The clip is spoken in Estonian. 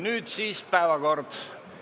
Nüüd siis päevakorrapunktid.